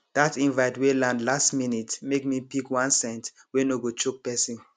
that invite wey land last minute make me pick one scent wey no go choke person